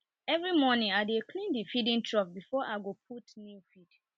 every morning i dey clean the feeding troughs before i go put new feed